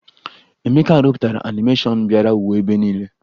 Emeka rụpụtara anịmeshọn bịara wuo ebe niile